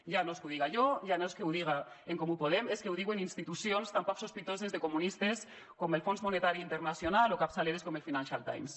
ja no és que ho diga jo ja no és que ho diga en comú podem és que ho diuen institucions tan poc sospitoses de comunistes com el fons monetari internacional o capçaleres com el mes